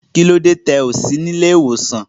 Kílódé tí o kò sí ní ìlẹ̀-ìwosan?